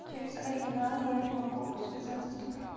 через оригинал я не могу связаться с тобой